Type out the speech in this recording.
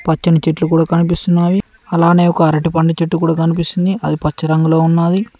పచ్చని చెట్లు కూడా కనిపిస్తున్నాయి అలానే ఒక అరటిపండు చెట్టు కూడా కనిపిస్తుంది అది పచ్చ రంగులో ఉన్నాది.